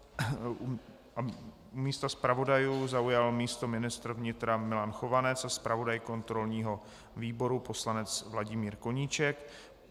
U stolku zpravodajů zaujal místo ministr vnitra Milan Chovanec a zpravodaj kontrolního výboru poslanec Vladimír Koníček.